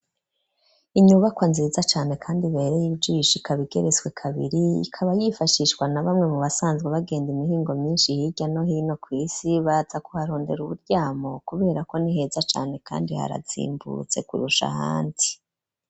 Inyubakwa nziza cane kandi ibereye ijisho ikaba igeretswe kabiri, ikaba yifashishwa na bamwe mu basanzwe bagenda imihingo myinshi hirya no hino kw'isi, baza kuharondera uburyamo, kubera ko niheza cane kandi harazimbutse kurusha ahandi.